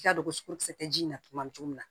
I k'a dɔn ko kisɛ tɛ ji in na tuma min cogo min na